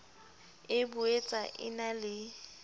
e boetsa e na le